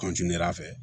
fɛ